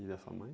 E da sua mãe?